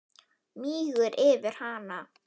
Mígur yfir hana.